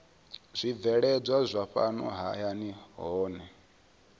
zwibveledzwa zwa fhano hayani zwohe